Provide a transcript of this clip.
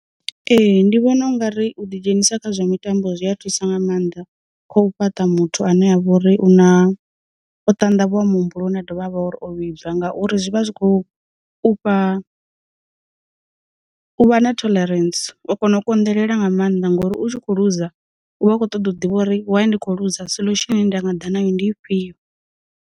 Ee, ndi vhona ungari u ḓi dzhenisa kha zwa mitambo zwi a thusa nga maanḓa kho u fhaṱa muthu ane a vha uri una o tandavhuwa muhumbuloni a dovha a vha o vhibva ngauri, zwi vha zwi khou u fha u vha na tholarentsi. U kona u konḓelela nga maanḓa ngori u tshi kho luza u vha a kho ṱoḓa u ḓivha uri why ndi kho luza solution ine nda nga ḓa nayo ndi ifhio.